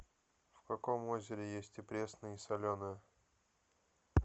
в каком озере есть и пресная и соленая